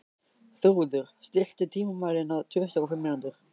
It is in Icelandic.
Þrúður, stilltu tímamælinn á tuttugu og fimm mínútur.